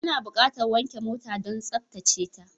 Ana buƙatar wanke mota don tsaftace ta.